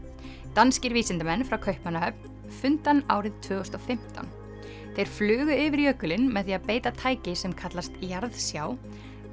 danskir vísindamenn frá Kaupmannahöfn fundu hann árið tvö þúsund og fimmtán þeir flugu yfir jökulinn með því að beita tæki sem kallast jarðsjá